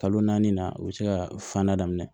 Kalo naani na u bɛ se ka fan da daminɛ